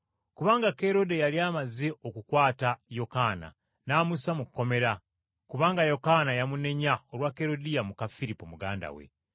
Kuba Kerode yali amaze okukwata Yokaana n’amussa mu kkomera, kubanga Yokaana yamunenya olwa Kerodiya muka Firipo muganda we,